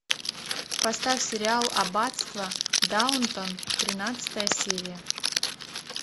поставь сериал аббатство даунтон тринадцатая серия